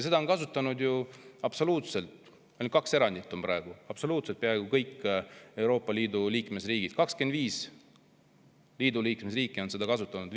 Seda on kasutanud ju peaaegu kõik – ainult kaks erandit on praegu – Euroopa Liidu liikmesriikides 25 on seda kasutanud.